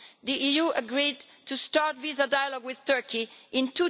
The EU agreed to start visa dialogue with Turkey in